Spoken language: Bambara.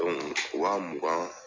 wa mugan